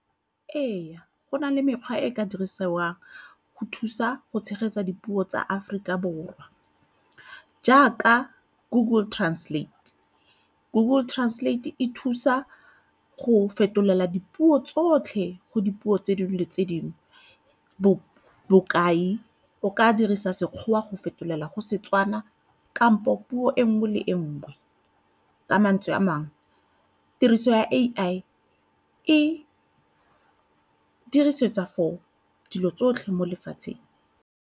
Ee, go na le mekgwa e e ka dirisiwang go thusa go tshegetsa dipuo tsa Aforika Borwa jaaka Google Translate. Google Translate e thusa go fetolela dipuo tsotlhe go dipuo tse dingwe le dingwe bokai, o ka dirisa Sekgowa go fetolela go Setswana kampo puo e nngwe le e nngwe. Ka mantswe a mangwe tiriso ya A_I e dirisetsa for dilo tsotlhe mo lefatsheng.